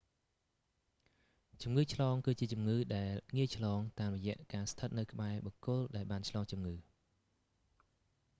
ជំងឺឆ្លងគឺជាជំងឺដែលងាយឆ្លង តាមរយៈការស្ថិតនៅក្បែរបុគ្គលដែលបានឆ្លងជំងឺ